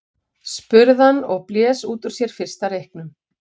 spurði hann og blés út úr sér fyrsta reyknum.